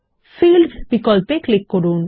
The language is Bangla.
ফিল্ডস বিকল্পে ক্লিক করুন